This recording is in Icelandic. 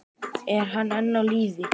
Er hann enn á lífi?